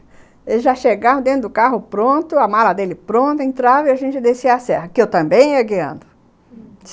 Eles já chegaram dentro do carro pronto, a mala dele pronta, entrava e a gente descia a serra, que eu também ia guiando, uhum.